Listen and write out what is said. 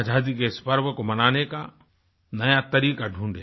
आजादी के इस पर्व को मनाने का नया तरीका ढूढें